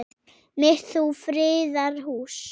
mitt þú friðar hús.